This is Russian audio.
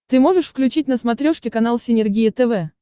ты можешь включить на смотрешке канал синергия тв